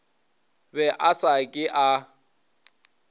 be a sa ke a